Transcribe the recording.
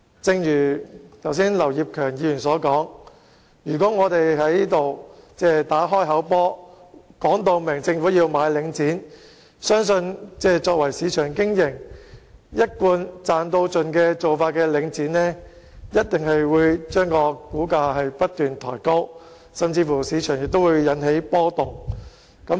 正如劉業強議員剛才所說，如果我們在此打"開口波"，明言要求政府購回領展，相信以商業原則經營、做法一貫是"賺到盡"的領展一定會把股價不斷抬高，甚至會在市場裏引起波動。